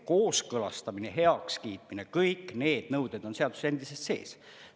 Kooskõlastamine ja heakskiitmine, kõik need nõuded on seaduses endiselt sees.